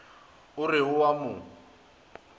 o re o a mo